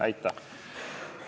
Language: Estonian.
Aitäh!